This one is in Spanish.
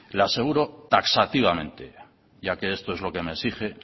le aseguro taxativamente ya que esto es lo que me exige